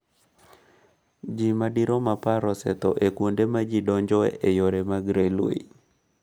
ji madirom apar osetho e kuonde ma ji donjoe e yore mag Railway.